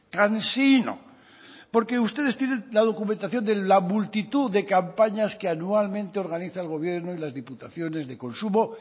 cansino porque ustedes tienen la documentación de la multitud de campañas que anualmente organiza el gobierno y las diputaciones de consumo